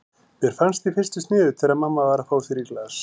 Mér fannst í fyrstu sniðugt þegar mamma var að fá sér í glas.